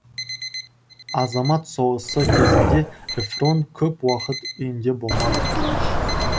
азамат соғысы кезінде эфрон көп уақыт үйінде болмады